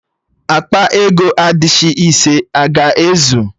Akpa ego adishị ise a ga-ezu?